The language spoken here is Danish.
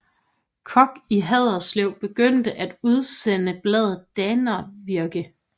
Koch i Haderslev begyndte at udsende bladet Dannevirke